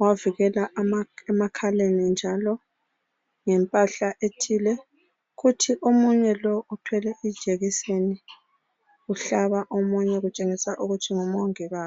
wavikela emakhaleni njalo ngempahla ethile, kuthi omunye lo uthwele ijekiseni uhlaba omunye kutshengisa ukuthi ngomongikazi.